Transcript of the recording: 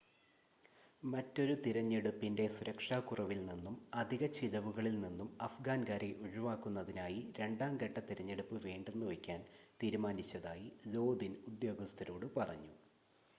മറ്റൊരു തിരഞ്ഞെടുപ്പിൻ്റെ സുരക്ഷാക്കുറവിൽ നിന്നും അധിക ചിലവുകളിൽ നിന്നും അഫ്ഗാൻകാരെ ഒഴിവാക്കുന്നതിനായി രണ്ടാം ഘട്ട തിരഞ്ഞെടുപ്പ് വേണ്ടെന്നുവയ്ക്കാൻ തീരുമാനിച്ചതായി ലോദിൻ ഉദ്യോഗസ്ഥരോട് പറഞ്ഞു